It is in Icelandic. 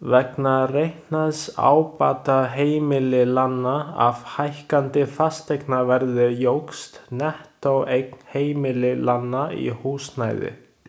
Vegna reiknaðs ábata heimilanna af hækkandi fasteignaverði jókst nettóeign heimilanna í húsnæði.